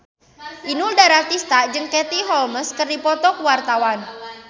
Inul Daratista jeung Katie Holmes keur dipoto ku wartawan